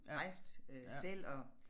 Rejste øh selv og